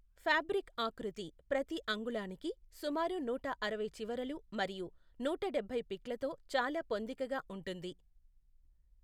Fabric ఆకృతి ప్రతి అంగుళానికి సుమారు నూట అరవై చివరలు మరియు నూట డబ్బై పిక్లతో చాలా పొందికగా ఉంటుంది.